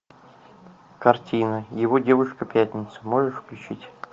картина его девушка пятница можешь включить